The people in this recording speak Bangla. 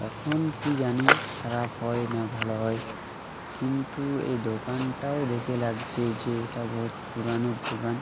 এখন কি জানি খারাপ হয় না ভালো হয় । কিন্তু এই দোকানটাও দেখে লাগছে যে এটা বহুৎ পুরানো দোকান।